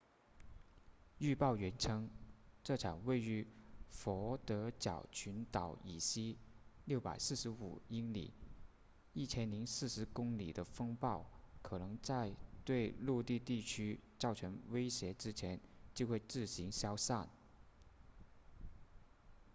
预报员称这场位于佛得角群岛以西645英里1040公里的风暴可能在对陆地地区造成威胁之前就会自行消散